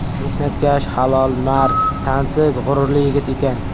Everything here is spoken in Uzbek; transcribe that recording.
Mehnatkash, halol, mard, tanti, g‘ururli yigit ekan.